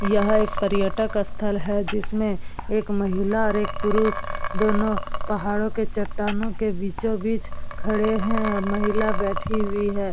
यह एक पर्यटक स्थल है जिसमें एक महिला और एक पुरुष दोनों पहाड़ों के चट्टानों के बीचों-बीच खड़े हैं महिला बैठी हुई है।